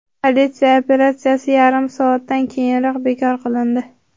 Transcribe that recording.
Politsiya operatsiyasi yarim soatdan keyinoq bekor qilindi.